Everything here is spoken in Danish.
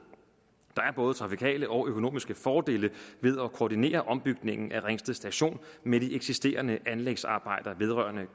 der er både trafikale og økonomiske fordele ved at koordinere ombygningen af ringsted station med de eksisterende anlægsarbejder vedrørende